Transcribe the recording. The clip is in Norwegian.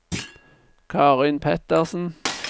Karin Pettersen